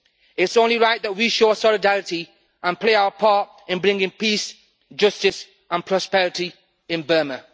It is only right that we show solidarity and play our part in bringing peace, justice and prosperity in Burma.